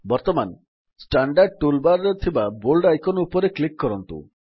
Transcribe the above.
ବର୍ତ୍ତମାନ standard tool bar ରେ ଥିବା ବୋଲ୍ଡ ଆଇକନ୍ ଉପରେ କ୍ଲିକ୍ କରନ୍ତୁ